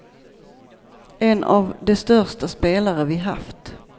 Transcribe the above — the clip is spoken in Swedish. En av de största spelare vi haft.